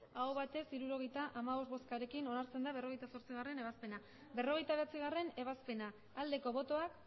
emandako botoak hirurogeita hamabost bai hirurogeita hamabost aho batez hirurogeita hamabost boskarekin onartzen da berrogeita zortzigarrena ebazpena berrogeita bederatzigarrena ebazpena aldeko botoak